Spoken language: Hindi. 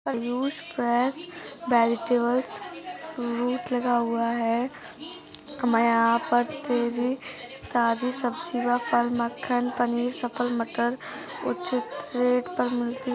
आयुष फ्रेश वेजीटेबल्स फ्रूट लगा हुआ है। हमारे यहाँ पर तेजी काजू सब्जीवा पल मक्खन पनीर सफल मटर उचित रेट पर मिलती।